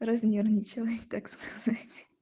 разнервничалась так сказать